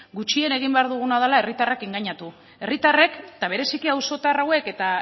gutxien egin behar duguna dela herritarrak engainatu herritarrek eta bereziki auzotar hauek eta